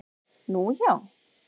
Nú, já